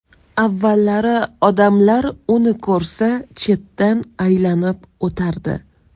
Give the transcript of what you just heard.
Avvallari odamlar uni ko‘rsa chetdan aylanib o‘tardi.